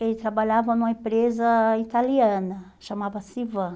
Ele trabalhava numa empresa italiana, chamava-se Ivan.